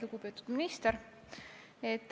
Lugupeetud minister!